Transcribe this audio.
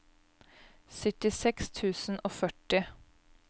syttiseks tusen og førti